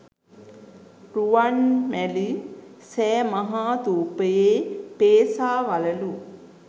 රුවන්මැලි සෑ මහාථූපයේ පේසා වළලු